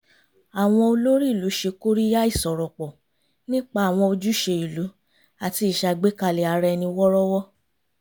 àwọn olórí ìlú ṣe kóríyá ìsọ̀rọ̀pọ̀ nípa àwọn ojúṣe ìlú àti ìṣàgbékalẹ̀ ara ẹni wọ́rọ́wọ́